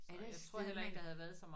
Er der et sted man